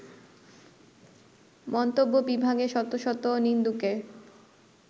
মন্তব্য বিভাগে শত শত নিন্দুকের